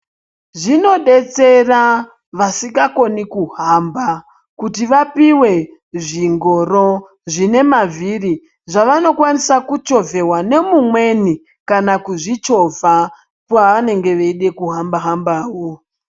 Zvinobetsera vasikakoni kuhamba kuti vapive zvingoro zvine mavhiri zvavanokwanisa kuchovheva nemumweni, kana kuzvichovha paanenge eida kuhamba-hambavo.